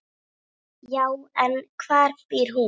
Já, en hvar býr hún?